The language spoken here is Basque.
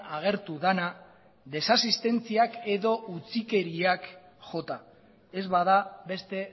agertu dena desasistentziak edo utzikeriak jota ez bada beste